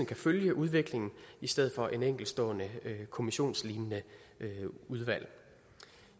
kan følge udviklingen i stedet for et enkeltstående kommissionslignende udvalg